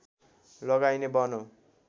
लगाइने वन हो